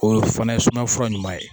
O fana ye sumaya fura ɲuman ye